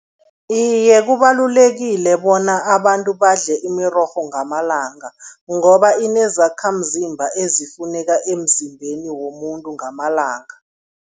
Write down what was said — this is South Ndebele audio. Iye, kubalulekile bona abantu badle imirorho ngamalanga ngoba inezakhamzimba ezifuneka emzimbeni womuntu ngamalanga.